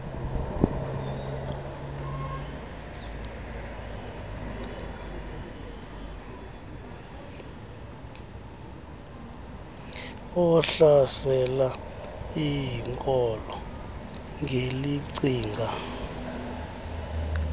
ohlasela iinkolo ngelicinga